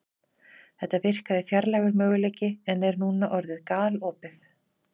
Þetta virkaði fjarlægur möguleiki en er núna orðið galopið.